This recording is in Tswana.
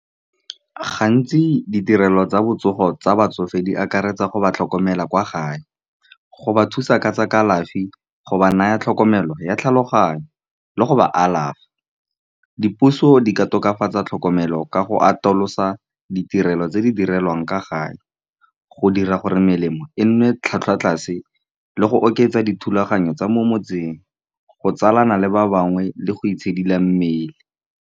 Gantsi ditirelo tsa botsogo tsa batsofe di akaretsa go ba tlhokomela kwa gae. Go ba thusa ka tsa kalafi, go ba naya tlhokomelo ya tlhaloganyo, le go ba alafa. Dipuso di ka tokafatsa tlhokomelo ka go atolosa ditirelo tse di direlwang ka gae, go dira gore melemo e nne tlhwatlhwa tlase, le go oketsa dithulaganyo tsa mo motseng, go tsalana le ba bangwe le go itshidila mmele.